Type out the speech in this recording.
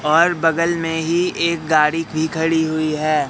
और बगल में ही एक गाड़ी भी खड़ी हुई है।